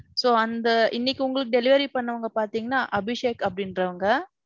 So அந்த, இன்னிக்கு உங்களுக்கு delivery பண்ணவங்க பாத்தீங்கன்னா அபிஷேக் அப்பிடீண்றவங்க.